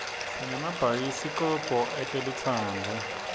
sinemabayisi kobho etelutsandvo